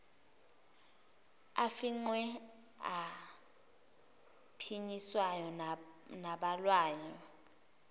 afingqiwe aphinyiswayo nabhalwayo